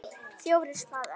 FJÓRIR spaðar.